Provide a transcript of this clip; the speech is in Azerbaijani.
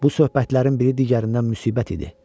Bu söhbətlərin biri digərindən müsibət idi.